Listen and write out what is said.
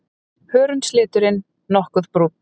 Hörundsliturinn nokkuð brúnn.